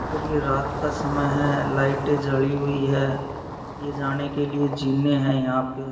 और ये रात का समय है लाइटें जली हुई है। ये जाने के लिए जीने हैं यहाँ पे ।